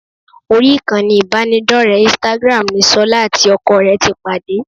Orí ìkànnì ìbánidọ́rẹ̀ẹ́ instagram ni ṣọlá àti ọkọ rẹ̀ ti pàdé